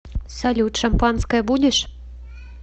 салют шампанское будешь